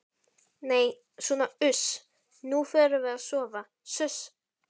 Nei sona uss, nú förum við að sofa suss.